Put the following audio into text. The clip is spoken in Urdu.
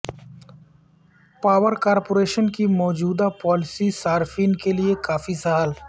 پاور کارپوریشن کی موجودہ پالیسی صارفین کیلئے کافی سہل